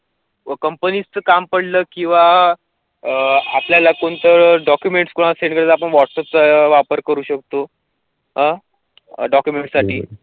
कंपनीचं काम पडलं किंवा अह आपल्याला कोणतं अह डॉकूमेंटस वॉट्सॲपचा वापर करू शकथो. अह डॉकूमेंटस साठी.